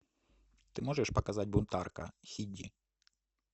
ты можешь показать бунтарка хи ди